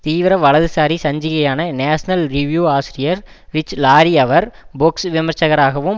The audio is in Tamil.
தீவிர வலதுசாரி சஞ்சிகையான நேஷனல் ரிவ்யூ ஆசிரியர் ரிச் லாரி அவர் பொக்ஸ் விமர்ச்சகராகவும்